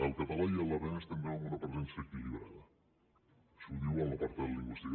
el català i l’aranès tindran una presència equilibrada això ho diu en l’apartat lingüístic